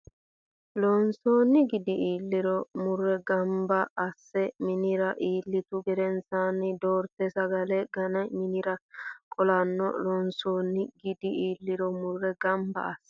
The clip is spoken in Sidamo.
Loonsoonni gidi iilliro mure gamba asse Minira iillitu gedensaanni Doorte sagale gane minira qolanno Loonsoonni gidi iilliro mure gamba asse.